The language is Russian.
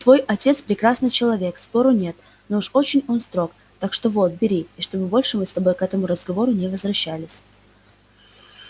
твой отец прекрасный человек спору нет но уж очень он строг так что вот бери и чтоб больше мы с тобой к этому разговору не возвращались